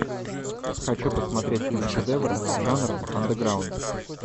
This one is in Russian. хочу посмотреть киношедевры жанра андеграунд